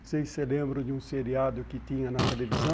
Vocês se lembram de um seriado que tinha na televisão?